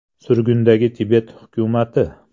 Surgundagi Tibet hukumati.